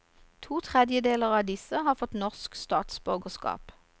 To tredjedeler av disse har fått norsk statsborgerskap.